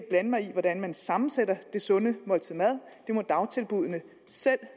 blande mig i hvordan man sammensætter det sunde måltid mad det må dagtilbuddene selv